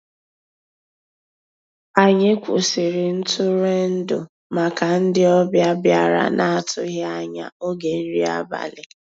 Ànyị́ kwụ́sị́rí ntụ́rụ́èndụ́ màkà ndị́ ọ̀bịá bìàrá ná-àtụ́ghị́ ànyá ògé nrí àbàlí.